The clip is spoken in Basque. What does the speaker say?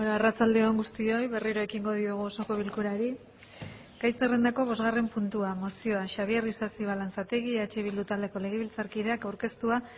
arratsalde on guztioi berriro ekingo diogu osoko bilkurari gai zerrendako bosgarren puntua mozioa xabier isasi balanzategi eh bildu taldeko legebiltzarkideak aurkeztua